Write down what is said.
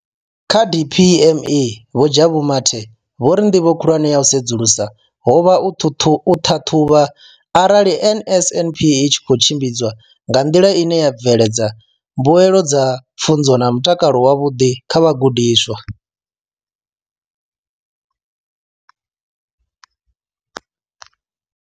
Kha DPME, Vho Jabu Mathe, vho ri ndivho khulwane ya u sedzulusa ho vha u ṱhaṱhuvha arali NSNP i tshi khou tshimbidzwa nga nḓila ine ya bveledza mbuelo dza pfunzo na mutakalo wavhuḓi kha vhagudiswa.